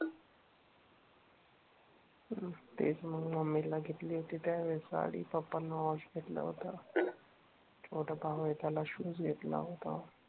हम्म तेच मग मम्मी ला घेतली होती त्या वेळेस साडी, पप्पा ना वॉच घेतलं होत, छोटा भाऊ ए त्याला शूज घेतला होता